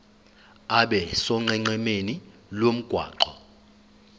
abe sonqenqemeni lomgwaqo